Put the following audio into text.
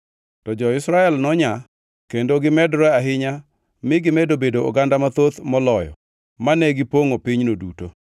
to jo-Israel nonyaa kendo gimedore ahinya mi gimedo bedo oganda mathoth moloyo mane gipongʼo pinyno duto.